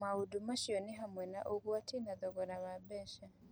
Maũndũ macio nĩ hamwe na ũgwati na thogora wa mbeca.